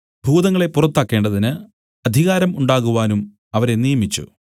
ഭൂതങ്ങളെ പുറത്താക്കേണ്ടതിന് അധികാരം ഉണ്ടാകുവാനും അവരെ നിയമിച്ചു